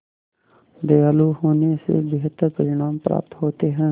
दयालु होने से बेहतर परिणाम प्राप्त होते हैं